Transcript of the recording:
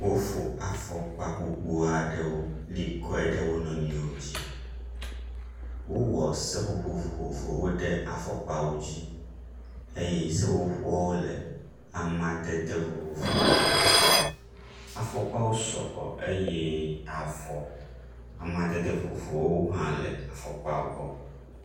Wofo afɔkpa gbogbo aɖewo li kɔe ɖe wo nɔnɔewo dzi. Wowɔ seƒoƒoƒ vovovowo ɖe afɔkpawo dzi eye seƒoƒowo le amadede vovovwo me. Afɔkpawo sɔgbɔ eye avɔ amdede vovovowo hã le afɔkpa gbɔ.